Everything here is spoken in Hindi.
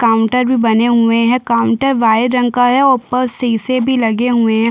काउंटर भी बने हुए है काउंटर वाइट रंग का है और ऊपर शीशे भी लगे हुए है।